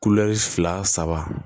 fila saba